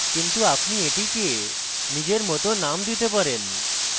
কিন্তু আপনি এটিকে নিজেরমত name দিতে পারে